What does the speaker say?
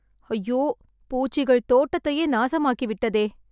ஐயோ.. பூச்சிகள் தோட்டத்தையே நாசமாக்கி விட்டதே..